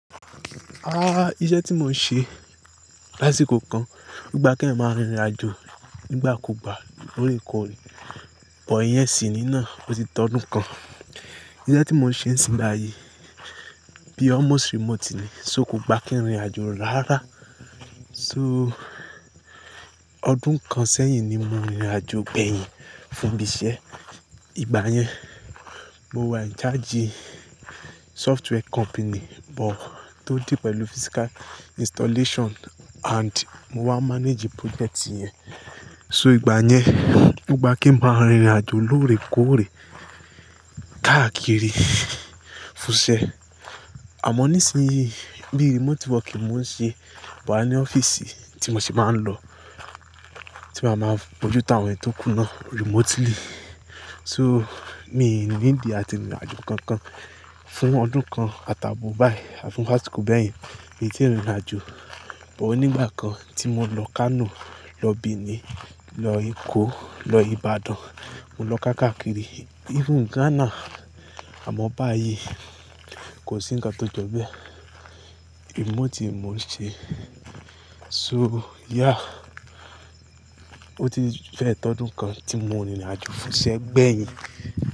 Ah! Iṣẹ́ tí mo ń ṣe lásìkò kan, o gba keyan máa rìnrìn àjò nígbà kú gbà lóòrè kóòrè, but ìyẹn sì ní náà ó ti tọ́dún kan. Iṣẹ́ tí mo ń ṣe nisín bàyi bí almost remote ni, só ko gba kí n rìnrìn àjò rárá. So ọdún kan sẹ́yìn ni mo rìnrìn àjò gbẹ́yìn fún ibi iṣẹ́. Ìgbà yẹn, mo wà in charge software company, but tó deal pẹ̀lú physical installation and mo wá manage project yẹn. So ìgbà yẹn, o gba kin máa rìnrìn àjò lóòrè kóòrè káàkiri fún iṣẹ́. Àmọ́ nísìnyí bí remote work ni mo ń ṣe but a ní ọ́fíìsì tí mo sì máa ń lọ, tí màá máa bójú tán àwọn ẹ́ni to kù náà remotely. So mi need àti rìnrìn àjò kankan fún ọdún kan àtàbo báyìí àti fún lásìkò bẹ́yen mi ò tíì rìnrìn àjò. But ònígbà kan tí mo lọ Kano, lọ Benin, lọ Èkó, lọ Ìbàdàn, mo lọ kákàkiri, even Ghana. Àmọ́ báyìí kò sí ǹkan tó jọ bẹ̀ remote mo ń ṣe. So yeah ó ti fẹ́ tọ́dún kan tí mo rìnrìn àjò fún iṣẹ́ gbẹ́yìn.